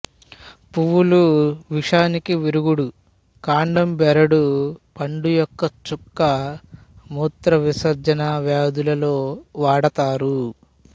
పువ్వులు విషానికి విరుగుడు కాండం బెరడు పండు యొక్క చుక్క మూత్రవిసర్జన వ్యాధుల లో వాడతారు